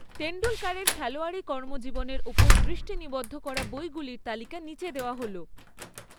তেন্ডুলকরের খেলোয়াড়ি কর্মজীবনের ওপর দৃষ্টি নিবদ্ধ করা বইগুলির তালিকা নিচে দেওয়া হল